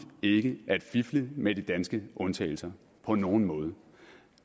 ikke at fifle med de danske undtagelser på nogen måde